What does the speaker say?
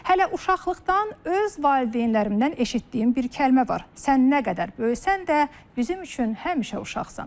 Hələ uşaqlıqdan öz valideynlərimdən eşitdiyim bir kəlmə var: Sən nə qədər böyüsən də, bizim üçün həmişə uşaqsan.